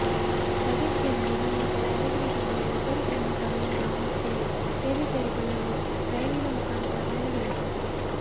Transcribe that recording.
ರಜೆಕ್ಕೆಂದು ಬಂದಿದ್ದ ಯಾದಗಿರಿ ಜಿಲ್ಲೆಯ ಇಬ್ಬರು ಸೈನಿಕರು ಇಂದು ಮತ್ತೆ ಸೇನೆ ಸೇರಿಕೊಳ್ಳಲು ರೈಲಿನ ಮುಖಾಂತರ ಪಯಣ ಬೆಳೆಸಿದರು